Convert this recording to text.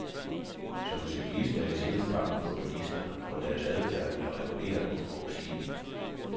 Som cyklist er jeg sjældent bange for bilister, for deres adfærd er reguleret og forudsigelig.